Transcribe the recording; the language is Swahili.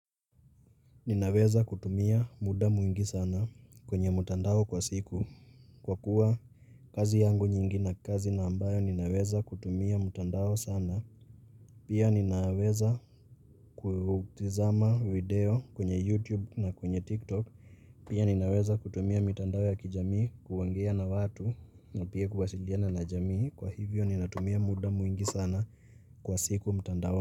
Ninaweza kutumia muda mwingi sana kwenye mtandao kwa siku. Kwa kuwa, kazi yangu nyingi na kazi na ambayo ninaweza kutumia mtandao sana, pia ninaweza kutazama 'video' kwenye 'YouTube' na kwenye 'TikTok', Pia ninaweza kutumia mitandao ya kijamii kuoangea na watu, na pia kuwasiliana na jamii, Kwa hivyo, ninatumia muda mwingi sana kwa siku mutandaoni.